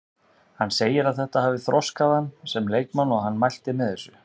Hann segir að þetta hafi þroskað hann sem leikmann og hann mælti með þessu.